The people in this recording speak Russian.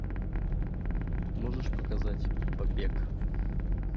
можешь показать побег